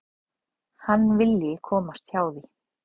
Hann vilji komast hjá því.